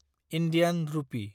Indian रुपी